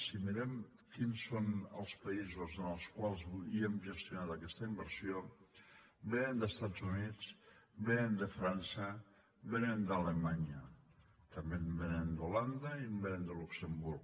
si mirem quins són els països en els quals hem gestionat aquesta inversió vénen dels estats units vénen de frança vénen d’alemanya també en vénen d’holanda i en vénen de luxemburg